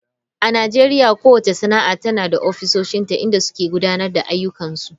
A Najeriya kowace sana'a tana da ofisoshinta inda suke gudanar da ayyukansu.